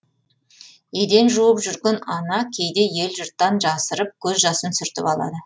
еден жуып жүрген ана кейде ел жұрттан жасырып көз жасын сүртіп алады